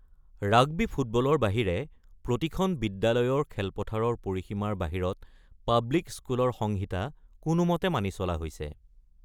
Rugby ফুটবলৰ বাহিৰে প্ৰতিখন বিদ্যালয়ৰ খেলপথাৰৰ পৰিসীমাৰ বাহিৰত পাব্লিক স্কুলৰ সংহিতা কোনোমতে মানি চলা হৈছে।